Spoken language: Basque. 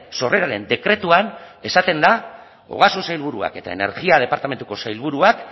sorreraren dekretuan esaten da ogasun sailburuak eta energia departamentuko sailburuak